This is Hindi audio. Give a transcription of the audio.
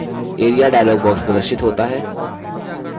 area dialog box प्रदर्शित होता है